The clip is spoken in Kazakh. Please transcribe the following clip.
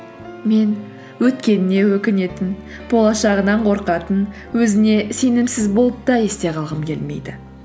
мен өткеніне өкінетін болашағынан қорқатын өзіне сенімсіз болып та есте қалғым келмейді